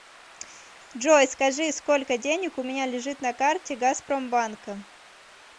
джой скажи сколько денег у меня лежит на карте газпромбанка